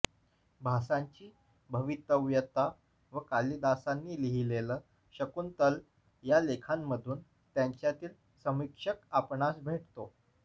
भासांची भवितव्यता व कालिदासांनी लिहिलेलं शाकुंतल या लेखांमधून त्यांच्यातील समीक्षक आपणास भेटतो